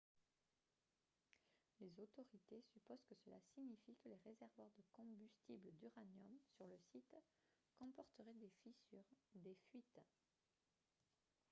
les autorités supposent que cela signifie que les réservoirs de combustible d'uranium sur le site comporteraient des fissures et des fuites